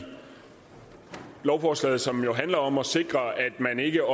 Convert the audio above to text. lovforslaget som handler om at sikre at man ikke